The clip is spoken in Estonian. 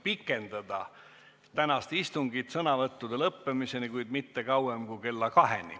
On ettepanek pikendada tänast istungit sõnavõttude lõppemiseni, kuid mitte kauem kui kella 2-ni.